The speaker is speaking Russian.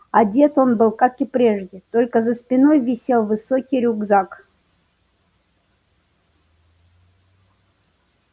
одет он был как и прежде только за спиной висел высокий рюкзак